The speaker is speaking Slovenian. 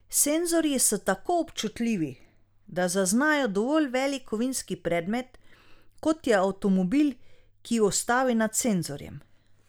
Senzorji so tako občutljivi, da zaznajo dovolj velik kovinski predmet, kot je avtomobil, ki ustavi nad senzorjem.